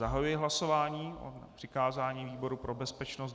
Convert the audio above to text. Zahajuji hlasování o přikázání výboru pro bezpečnost.